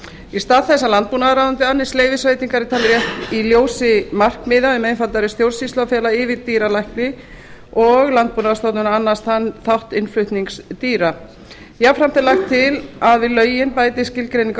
í stað þess að landbúnaðarráðuneyti annist leyfisveitingar er talið rétt í ljósi markmiða um einfaldari stjórnsýslu að fela yfirdýralækni og landbúnaðarstofnun að annast þann þátt innflutnings dýra jafnframt er lagt til að við lögin bætist skilgreining á